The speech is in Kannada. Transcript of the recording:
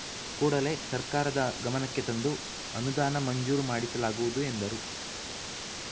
ಕೂಡಲೇ ಸರ್ಕಾರದ ಗಮನಕ್ಕೆ ತಂದು ಅನುದಾನ ಮಂಜೂರು ಮಾಡಿಸಲಾಗುವುದು ಎಂದರು